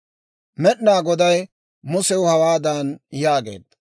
Med'inaa Goday Musew hawaadan yaageedda;